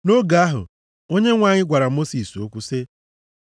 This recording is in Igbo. Nʼoge ahụ, Onyenwe anyị gwara Mosis okwu sị,